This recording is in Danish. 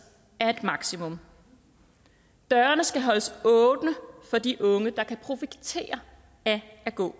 er et maksimum dørene skal holdes åbne for de unge der kan profitere af at gå